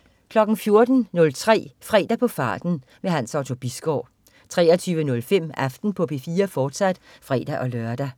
14.03 Fredag på farten. Hans Otto Bisgaard 23.05 Aften på P4, fortsat (fre-lør)